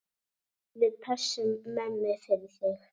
Við pössum mömmu fyrir þig.